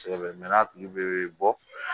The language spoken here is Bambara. Sɛ bɛ mɛɛnna a tigi bɛ bɔ